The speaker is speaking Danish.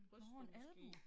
Nåh en albue